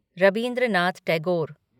Rabindranath Tagore